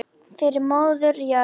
Fyrir móður jörð.